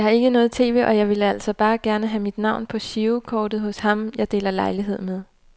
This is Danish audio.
Jeg har ikke noget tv, og jeg ville altså bare gerne have mit navn på girokortet hos ham jeg deler lejlighed med.